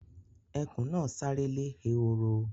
Ẹkùn náà sáré lè ehoro